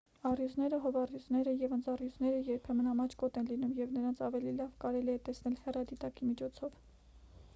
առյուծները հովազառյուծները և ընձառյուծները երբեմն ամաչկոտ են լինում և նրանց ավելի լավ կարելի է տեսնել հեռադիտակի միջոցով